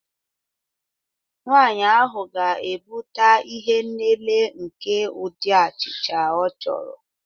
Nwanyị ahụ ga-ebute ihe nlele nke ụdị achịcha ọ chọrọ